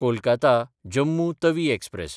कोलकाता–जम्मू Tawi express